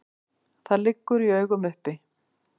Það liggur í augum uppi.